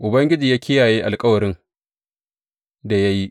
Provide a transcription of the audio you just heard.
Ubangiji ya kiyaye alkawarin da ya yi.